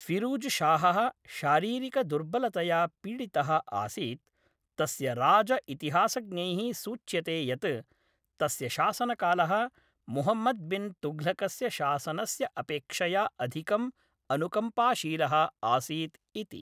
फिरूजशाहः शारीरिकदुर्बलतया पीडितः आसीत्, तस्य राज इतिहासज्ञैः सूच्यते यत् तस्य शासनकालः मुहम्मद् बिन् तुघ्लकस्य शासनस्य अपेक्षया अधिकम् अनुकम्पाशीलः आसीत् इति।